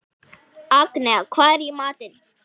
Agnea, hvað er í matinn?